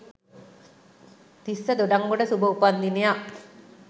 තිස්ස දොඩන්ගොඩ සුභ උපන් දිනයක්